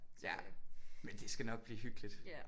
Men det skal nok blive hyggeligt